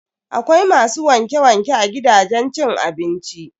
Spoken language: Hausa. Akwai masu wanke-wanke a gidajen cin abinci.